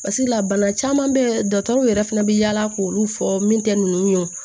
Barisa bana caman bɛ dɔgɔtɔrɔ yɛrɛ fana bɛ yaala k'olu fɔ min tɛ nunnu ye wo